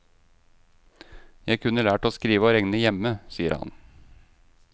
Jeg kunne lært å skrive og regne hjemme, sier han.